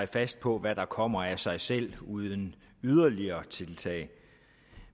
fast på hvad der kommer af sig selv uden yderligere tiltag